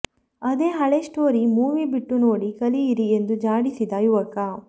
ಅದೇ ಹಳೆ story movie ಬಿಟ್ಟು ನೋಡಿ ಕಲಿಯಿರಿ ಎಂದು ಜಾಡಿಸಿದ ಯುವಕ